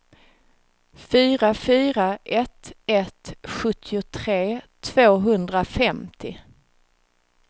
fyra fyra ett ett sjuttiotre tvåhundrafemtio